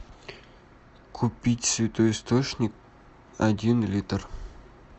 купить святой источник один литр